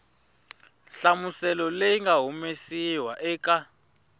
nhlamuselo leyi nga humesiwa eka